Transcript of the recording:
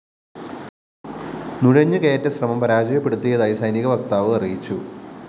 നുഴഞ്ഞുകയറ്റശ്രമം പരാജയപ്പെടുത്തിയതായി സൈനിക വക്താവ് അറിയിച്ചു